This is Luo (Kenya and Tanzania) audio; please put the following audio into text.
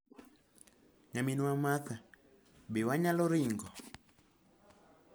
Nyaminwa Marta, be wanyalo ringo?'"